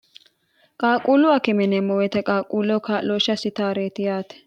qaaquullu hakime yineemmo woyite qaaquulloho kaa'looshshe asitaareeti yaate.